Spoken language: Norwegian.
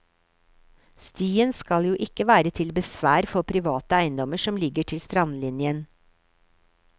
Stien skal jo ikke være til besvær for private eiendommer som ligger til strandlinjen.